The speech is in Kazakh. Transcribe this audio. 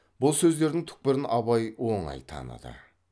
бұл сөздердің түкпірін абай оңай таныды